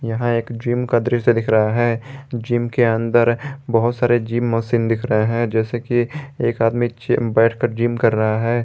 यह एक जिम का दृश्य दिख रहा है जिम के अंदर बहुत सारे जिम मशीन दिख रहे है जैसे की एक आदमी बैठ कर जिम कर रहा है।